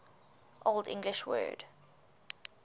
old english word